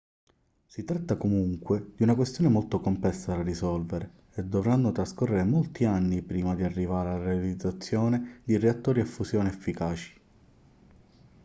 si tratta comunque di una questione molto complessa da risolvere e dovranno trascorrere molti anni prima di arrivare alla realizzazione di reattori a fusione efficaci